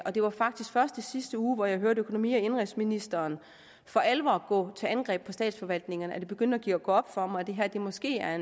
og det var faktisk først i sidste uge hvor jeg hørte økonomi og indenrigsministeren for alvor gå til angreb på statsforvaltningerne at det begyndte at gå op for mig at det her måske er